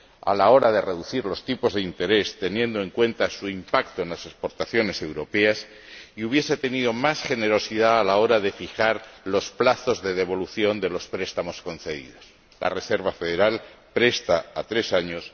a la hora de reducir los tipos de interés, teniendo en cuenta su impacto en las exportaciones europeas, y hubiese tenido más generosidad a la hora de fijar los plazos de devolución de los préstamos concedidos la Reserva Federal presta a tres años